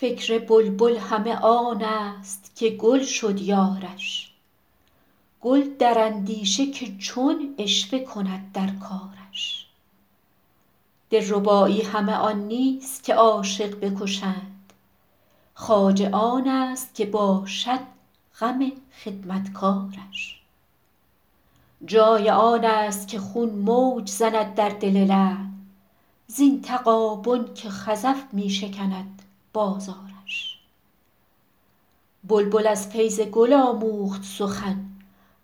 فکر بلبل همه آن است که گل شد یارش گل در اندیشه که چون عشوه کند در کارش دلربایی همه آن نیست که عاشق بکشند خواجه آن است که باشد غم خدمتکارش جای آن است که خون موج زند در دل لعل زین تغابن که خزف می شکند بازارش بلبل از فیض گل آموخت سخن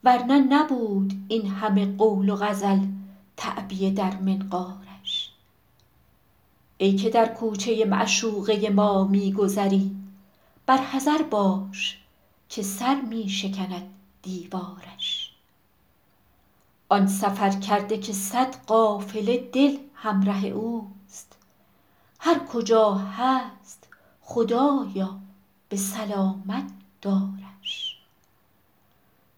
ور نه نبود این همه قول و غزل تعبیه در منقارش ای که در کوچه معشوقه ما می گذری بر حذر باش که سر می شکند دیوارش آن سفرکرده که صد قافله دل همره اوست هر کجا هست خدایا به سلامت دارش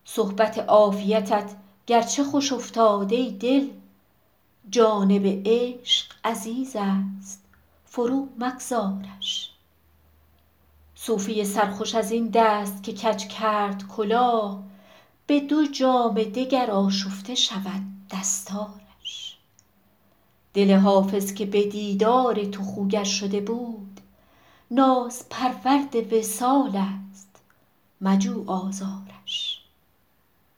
صحبت عافیتت گرچه خوش افتاد ای دل جانب عشق عزیز است فرومگذارش صوفی سرخوش از این دست که کج کرد کلاه به دو جام دگر آشفته شود دستارش دل حافظ که به دیدار تو خوگر شده بود نازپرورد وصال است مجو آزارش